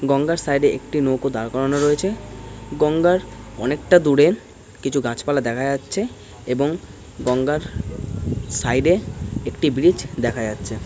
গঙ্গার সাইড -এ একটি নৌকো দাঁড় করানো রয়েছে গঙ্গার অনেকটা দূরে কিছু গাছপালা দেখা যাচ্ছে এবং গঙ্গার সাইড -এ একটি ব্রিজ দেখা যাচ্ছে ।